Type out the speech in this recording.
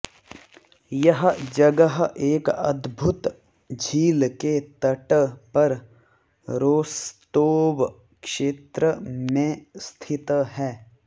यह जगह एक अद्भुत झील के तट पर रोस्तोव क्षेत्र में स्थित है